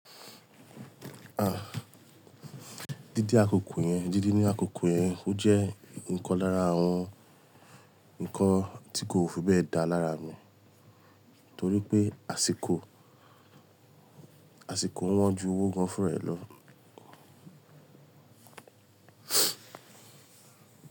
Ah, jíjí akoko yẹn, jíjí ní àkókò yẹn o jẹ́ nǹkan lára àwọn nǹkan tí kò fi bẹ́ẹ̀ dá lára mi torí pé àsìkò, àsìkò wọ́n ju owó gan-an fún raẹ̀ lọ.